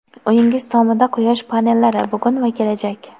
Uyingiz tomida quyosh panellari: bugun va kelajak.